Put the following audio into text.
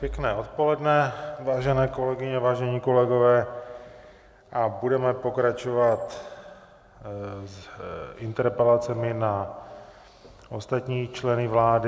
Pěkné odpoledne, vážené kolegyně, vážení kolegové, a budeme pokračovat s interpelacemi na ostatní členy vlády...